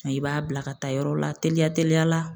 Mɛ i b'a bila ka taa yɔrɔ la teliya teliya la